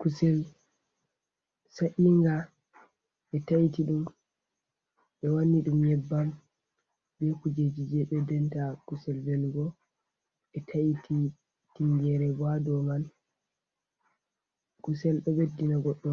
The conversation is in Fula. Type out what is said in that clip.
Kusel sa’inga ɓe taiti ɗum ɓe wanni ɗum nyebbam be kujeji je ɓeddenta kusel velugo. Ɓe ta’iti tingere bo hado man. kusell ɗo ɓeddina goɗɗo